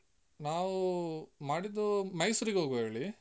ನಾವೂ ಮಾಡಿದ್ದು ಮೈಸೂರಿಗೆ ಹೋಗುವ ಹೇಳಿ.